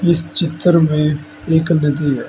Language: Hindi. इस चित्र में एक नदी है।